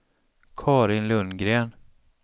Karin Lundgren